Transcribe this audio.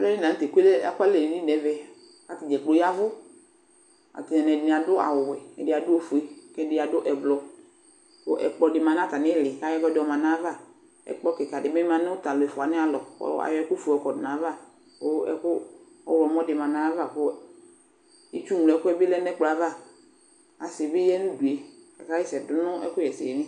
Plenani nʋtɛ ekʋalɛ nʋ edini nʋ ɛvɛ, kʋ atadza kplo ayavʋ Atamɩɛdinɩ adʋ awʋwɛ, ɛdɩ adʋ ofie, kʋ ɛdɩ adʋ ɛblɔ Kʋ ɛkplɔ dɩ ma nʋ atamɩ ɩlɩ, kʋ ayɔ ɛkʋɛdɩ yɔma nʋ ayʋ ava Ɛkplɔ kɩkadɩ bɩ ma nʋ tʋ alʋefʋa wanɩ alɔ, kʋ ayɔ ɛkʋfue yɔ kɔdʋ nʋ ayava, kʋ ɛkʋ ɔɣlɔmɔ dɩ ma nʋ ayava, kʋ itsu ŋloɛkʋ bɩ lɛ nʋ ɛkplɔ yɛ ava Asɩ nɩbɩ ya nʋ udu yɛ Aka ɣa ɛsɛ dʋ nʋ ɛkʋ ɣɛsɛ li